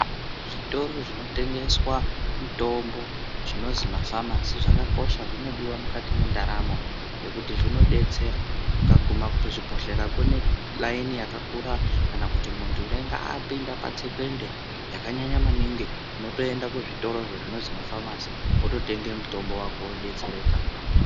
Zvitoro zvinotengeswa mitombo zvinozi mafamasi zvakakosha. Zvinodiwa mukati mwendaramo ngekuti zvinodetsera. Ugaguma kuzvibhohlera kunelaini yakakura, kana kuti muntu unenge apinda patsekwende yakanyanya maningi unotoenda kuzvitorozvo zvinozi mafamasi, wototenga mutombo wako wodetsereka